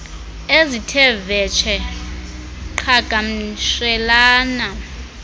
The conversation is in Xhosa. ezithe vetshe qhagamshelana